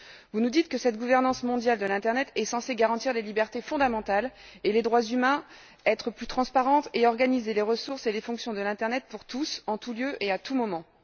Vous nous dites que cette gouvernance mondiale de l'internet est censée garantir les libertés fondamentales et les droits humains, être plus transparente et organiser les ressources et les fonctions de l'internet pour tous, en tout lieu et à tout moment.